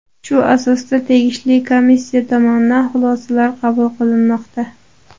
Shu asosda tegishli komissiya tomonidan xulosalar qabul qilinmoqda.